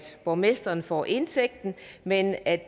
borgmesteren får indtægten men at